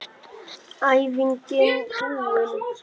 Æfingin búin!